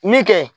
Min kɛ